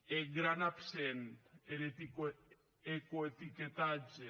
e eth gran absent er ecoetiquetatge